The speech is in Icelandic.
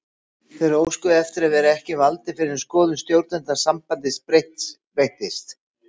Þeir óskuðu eftir að vera ekki valdir fyrr en skoðun stjórnenda sambandsins breyttist.